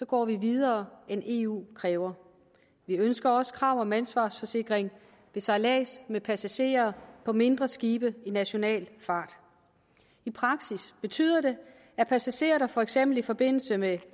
går vi videre end eu kræver vi ønsker også krav om ansvarsforsikring ved sejlads med passagerer på mindre skibe i national fart i praksis betyder det at passagerer for eksempel i forbindelse med